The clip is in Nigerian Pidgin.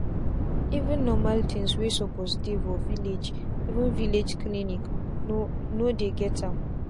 even normal things wey suppose dey for villageeven villlage clinics no no dey get am.